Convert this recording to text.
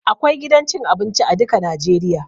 Akwai gidan cin abinci a duka najeriya